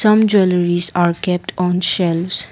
some jewelleries are kept on shelves.